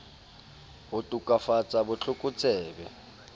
ho to kafatsa bot lokotsebe